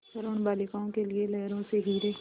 वरूण बालिकाओं के लिए लहरों से हीरे